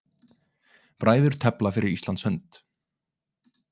Bræður tefla fyrir Íslands hönd